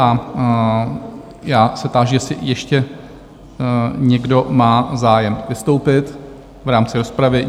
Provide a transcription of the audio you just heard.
A já se táži, jestli ještě někdo má zájem vystoupit v rámci rozpravy?